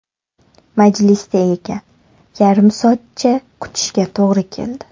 Majlisda ekan, yarim soatcha kutishga to‘g‘ri keldi.